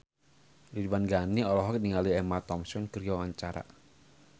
Ridwan Ghani olohok ningali Emma Thompson keur diwawancara